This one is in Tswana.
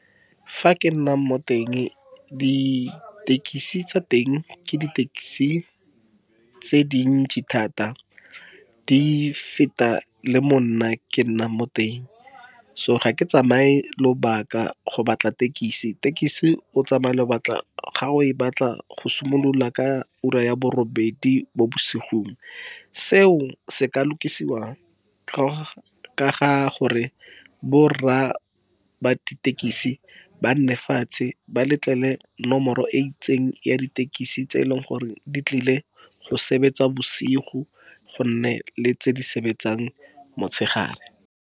Fa ke nnang mo teng ditekisi tse teng ke ditekesi tse dintsi thata di feta le mo nna ke nnang mo teng, so ga ke tsamaye lobaka go batla tekisi, tekisi o tsamaya lobaka ga o e batla go simolola ka ura ya bo robedi mo bosigong, seo se ka lokisiwa ka ga gore bo rra ba ditekisi ba nne fatshe ba nomoro e itseng ya ditekisi tse e leng gore di tlile go sebetsa bosigo, go nne le tse di sebetsang motshegare.